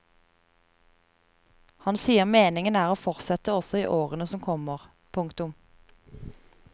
Han sier meningen er å fortsette også i årene som kommer. punktum